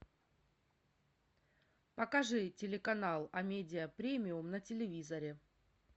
покажи телеканал амедиа премиум на телевизоре